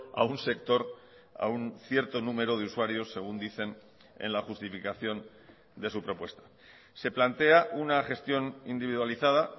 a un sector a un cierto número de usuarios según dicen en la justificación de su propuesta se plantea una gestión individualizada